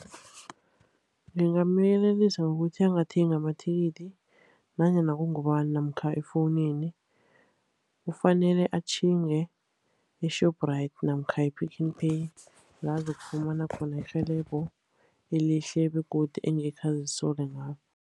Ngingamyelelisa ngokuthi angathengi amathikithi nanyana kungubani, namkha efowunini. Kufanele atjhinge e-Shoprite namkha e-Pick n Pay, la azokufumana khona irhelebho elihle begodu engekhe azisole ngalo.